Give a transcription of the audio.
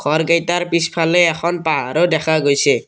ঘৰকেইটাৰ পিছফলে এখন পাহাৰো দেখা গৈছে।